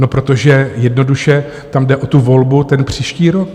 No protože jednoduše tam jde o tu volbu ten příští rok.